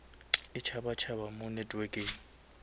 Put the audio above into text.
e tšhaba tšhaba mo networkeng